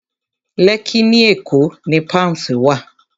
Lẹ́kkí ní Èkó ni Palms wà